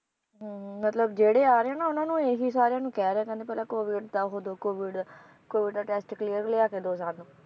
ਹਮ ਮਤਲਬ ਜਿਹੜੇ ਆ ਰਹੇ ਆ ਨਾ ਉਹਨਾਂ ਨੂੰ ਇਹ ਹੀ ਸਾਰਿਆਂ ਨੂੰ ਕਹਿ ਰਹੇ ਆ ਕਹਿੰਦੇ ਪਹਿਲਾਂ COVID ਦਾ ਉਹ ਦਓ COVIDCOVID ਦਾ test clear ਲਿਆ ਕੇ ਦਓ ਸਾਨੂੰ